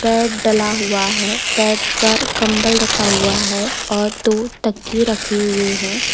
Bed डाला हुआ है बेड पर कंबल रखा हुआ है और दो तकिए की रखे हुए हैं।